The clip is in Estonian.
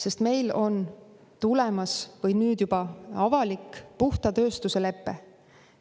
Sest meil on tulemas või on nüüd juba avalik puhta tööstuse lepe.